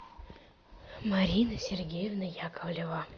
марина сергеевна яковлева